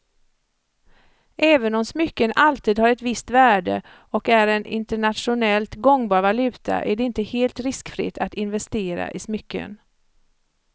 Även om smycken alltid har ett visst värde och är en internationellt gångbar valuta är det inte helt riskfritt att investera i smycken.